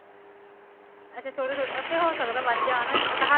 ਇਥੇ ਥੋੜੀ ਦੇਰ ਇਥੇ ਹੋ ਸਕਦਾ ਵਾਦ ਜਾਨ ਓਹ ਤਾ ਹੱਥ